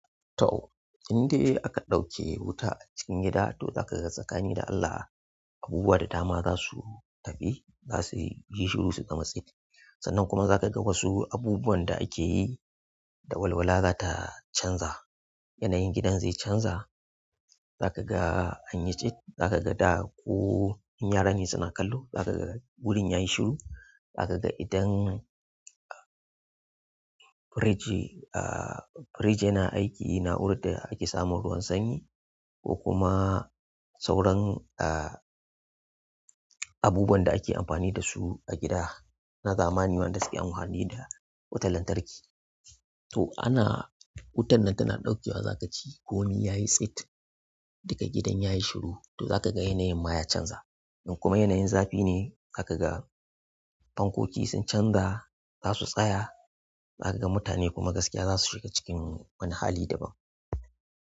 To, indai aka ɗauke wuta a cikin gida to za ka ga tsakani da Allah abubuwa da dama za su tafi, za suyi, yi shuru su zama tsit. Sannan kuma za ka ga wasu abubuwan da ake yi da walwala za ta canza. Yanayin gidan zai canza. Za ka ga anyi tsit, za ka ga da ko in yara ne suna kallo za ka ga wurin yayi shiru. Za ka ga idan fridge, ah fridge yana aiki na'urar da ake samun ruwan sanyi ko kuma sauran ah abubuwan da ake amfani da su a gida na zamani waɗanda suke amfani da wutar lantarki. To ana, wutar nan tana ɗaukewa za ka ji komi yayi tsit, duka gidan yayi shiru, to za ka ga yanayin ma ya canza. In kuma yanayin zafi ne za ka ga fankoki sun canza za su tsaya. Za ka ga mutane kuma gaskiya za su shiga cikin wani hali dabam.